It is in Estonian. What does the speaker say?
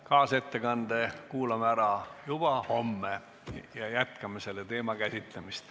Kaasettekande kuulame ära juba homme ja jätkame selle teema käsitlemist.